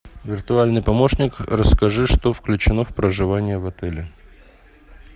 виртуальный помощник расскажи что включено в проживание в отеле